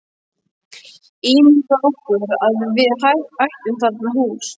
Ímyndað okkur að við ættum þarna hús.